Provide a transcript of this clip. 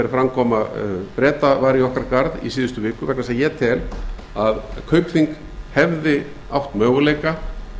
framkoma breta var í okkar garð í síðustu viku vegna þess að ég tel að kaupþing hefði átt möguleika